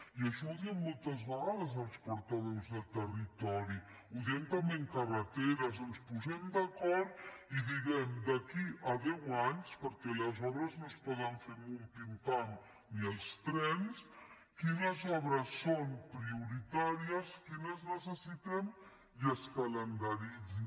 i això ho diem moltes vegades els portaveus de territori ho diem també en carreteres que ens posem d’acord i diguem per a d’aquí a deu anys perquè les obres no es poden fer en un pim pam ni els trens quines obres són prioritàries quines necessitem i que es calendaritzin